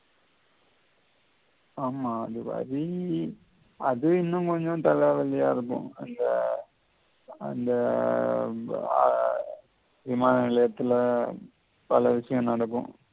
ஆமா அது வரி அது இன்னும் கொஞ்சம் தலவழியா இருக்கும் அந்த அந்த எர் விமானநிலையத்தில பல விஷயம் நடக்கும்